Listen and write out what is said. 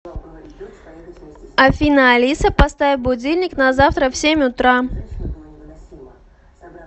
афина алиса поставь будильник на завтра в семь утра